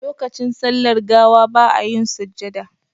Lokacin sallar gawa ba a yin sujjada